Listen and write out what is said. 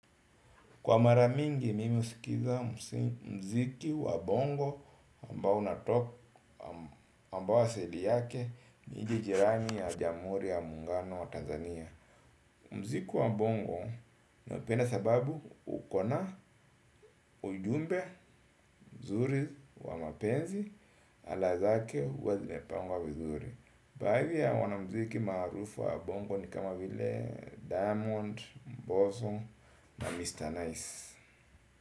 Kwa mara mingi mimi husikiza muziki wa bongo ambao unatoka ambao asili yake nchi jirani ya jamhuri ya muungano wa Tanzania. Muziki wa bongo naupenda sababu uko na ujumbe mzuri wa mapenzi ala zake huwa zimepangwa vizuri. Baadhi ya wanamuziki maarufu wa bongo ni kama vile Diamond, Mbosso na Mr. Nice.